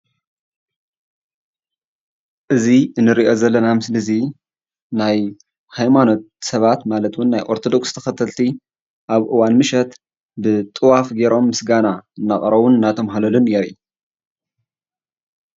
እዚ እንሪኦ ዘለና ምስሊ እዚ ናይ ሃይማኖት ስባት ማለት ውን ናይ አርቶዶክስ ተከተልቲ አብ እዋን ምሽት ብጥዋፍ ገይሮም ምስጋና እናቅረቡን እናተማህለሉን የርኢ፡፡